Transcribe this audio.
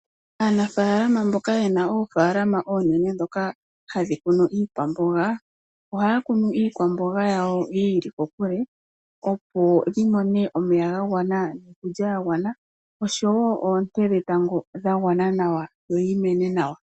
Aanafaalama mboka yena oofaalama oonene ndhoka hadhi kunwa iikwamboga, ohaya kunu iikwamboga yawo yiili kokule opo yimone omeya gagwana niikulya yagwana noshowoo oonte dhetango dhagwana nawa, yo yimene nawa.